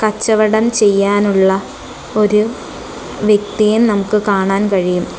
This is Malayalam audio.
കച്ചവടം ചെയ്യാനുള്ള ഒരു വ്യക്തിയെ നമുക്ക് കാണാൻ കഴിയും.